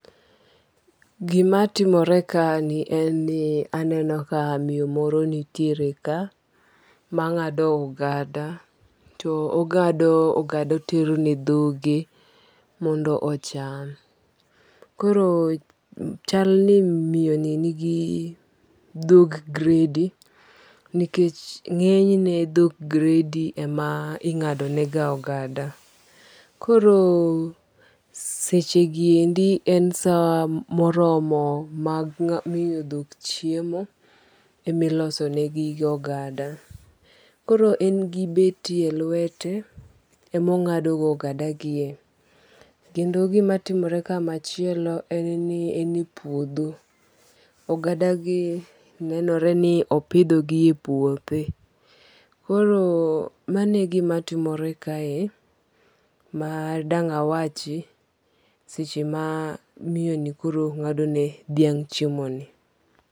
Gimatimorekani eni aneno ka miyo moro nitiere ka, manga'do ogada to ong'ado ogada oterone dhoge mondo ocham, koro chal ni miyoni nigi dhok gredy nikech ng'enyne dhok gredy ema inga'donega ogada, koro sechegiendi en saa moromo mar miyo dhok chiemo emilosonegiga ogada, koro engi beti elwete emonga'do ogadagie, kendo gimatimore kae machielo en ni enie puotho, ogadagie nenore ni opithogie e puothe, koro mano e gima timore kae madanga' wachi seche ma miyono koro nga'do ne dhiang' chiemoni.